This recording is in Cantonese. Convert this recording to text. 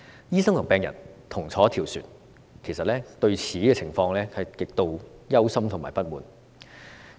醫生和病人同坐一條船，其實對這個情況極度憂心和不滿。